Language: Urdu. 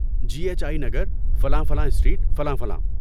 جی ایچ آئی نگر، فلاں فلاں اسٹریٹ، فلاں فلاں۔